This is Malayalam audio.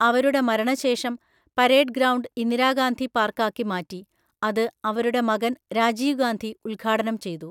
അവരുടെ മരണശേഷം പരേഡ് ഗ്രൗണ്ട് ഇന്ദിരാഗാന്ധി പാർക്കാക്കി മാറ്റി, അത് അവരുടെ മകൻ രാജീവ് ഗാന്ധി ഉദ്ഘാടനം ചെയ്തു.